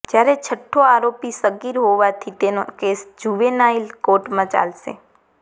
જ્યારે છઠ્ઠો આરોપી સગીર હોવાથી તેનો કેસ જુવેનાઇલ કોર્ટમાં ચાલશે